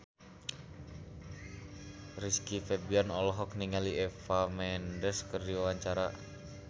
Rizky Febian olohok ningali Eva Mendes keur diwawancara